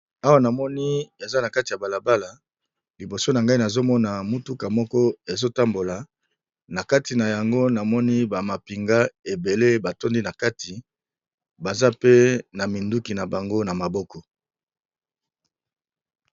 Awa namoni eza na kati ya bala bala, liboso na ngai nazomona mutuka moko ezo tambola na kati na yango namoni ba mapinga ebele batondi na kati, baza pe na minduki na bango na maboko.